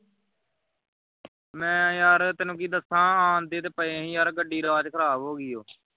ਮੈਂ ਯਾਰ ਤੈਨੂੰ ਕੀ ਦੱਸਾਂ ਆਉਂਦੇ ਤੇ ਪਏ ਸੀ ਗੱਡੀ ਰਾਹ ਵਿੱਚ ਖਰਾਬ ਹੋ ਗਈਆਂ